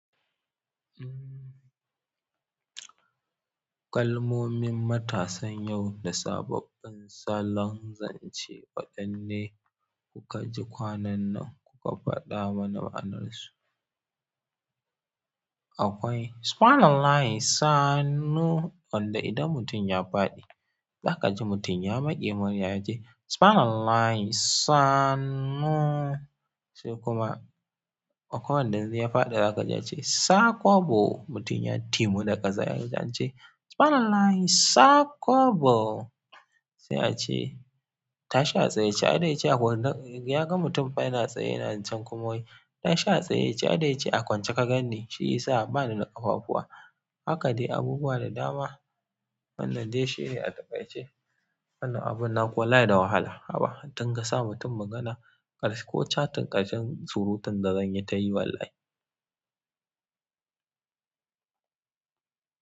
Kalamomin matasan yau da sababbin salon zance waɗanne kuka ji kwanan nan kuka faɗa mana ma'anarsu? Akwai "Subhanallahi saanu" wanda idan mutum ya faɗi zaka ji mutum ya maƙe mury ya ce "Subhanallahi saanu". Kuma akwai wanda in ya faɗi zaka ji ya ce "Saƙwabo", mutum ya timu da ƙasa ya ce "Subhanallahi Saƙwabo". Sai ace "Tashi a tsaye aida yace a kwance, yaga mutum fa yana tsaye yana can kuma, "Tashi a tsaye aida yace a kwance ka ganni, shi ya sa bani da ƙafafuwa. Haka dai abubuwa da dama wannan dai shine atakaice wannan abun naku wallahi da wahala. Haba! A dinga sa mutum magana, kar ko chating ƙarshen surutun da zanyi ta yi wallahi.